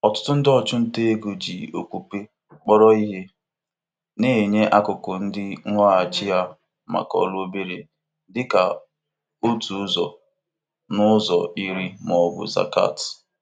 Ikenye akụkụ ego nchekwa onwe mgbe onwe mgbe niile maka inye onyinye na-enyere aka ịnọgide n'inwe ọzụzụ gbasara ego